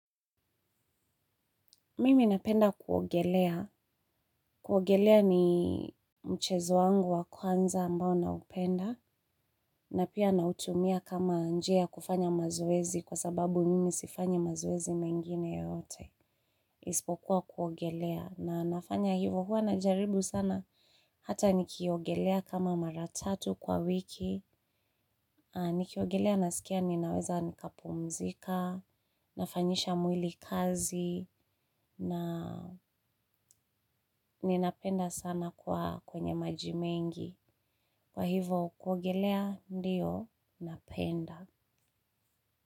Mimi napenda kuogelea. Kuogelea ni mchezo wangu wa kwanza ambao naupenda. Na pia nautumia kama njia ya kufanya mazoezi kwa sababu mimi sifanyi mazoezi mengine yoyote. Ispokuwa kuogelea. Na nafanya hivo huwa najaribu sana. Hata nikiogelea kama mara tatu kwa wiki. Nikiogelea nasikia ninaweza nikapumzika. Nafanyisha mwili kazi. Na ninapenda sana kuwa kwenye maji mengi. Kwa hivo kuogelea ndio napenda.